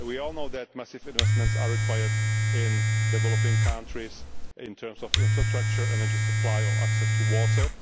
We all know that massive investments are required in developing countries in terms of infrastructure, energy supply or access to